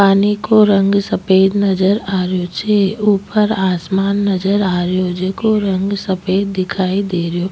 पानी को रंग सफ़ेद नजर आ रेहो छे ऊपर आसमान नजर आ रेहो जेको रंग सफ़ेद दिखाई दे रेहो।